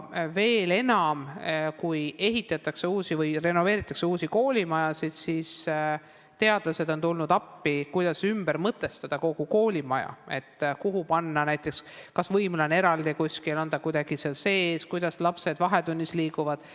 Veel enam, kui ehitatakse uusi või renoveeritakse vanu koolimajasid, siis on teadlased tulnud appi selleks, kuidas ümber mõtestada kogu koolimaja, et kas näiteks võimla on kuskil eraldi või on ta kuidagi seal majas sees ja kuidas lapsed vahetunnis liikuda saavad.